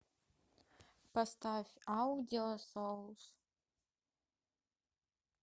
поставь аудиосоулз